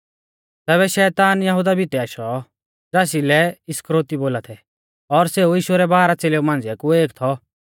तैबै शैतान यहुदा भितै आशौ ज़ासलै इस्करियोती बोला थै और सेऊ यीशु रै बारह च़ेलेऊ मांझ़िऐ कु एक थौ